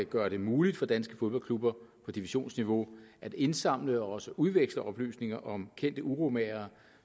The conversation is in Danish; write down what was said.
gøre det muligt for danske fodboldklubber på divisionsniveau at indsamle og også udveksle oplysninger om kendte uromagere